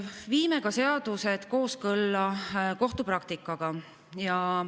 Viime seadused kooskõlla ka kohtupraktikaga.